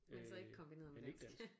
Men så ikke kombineret med dansk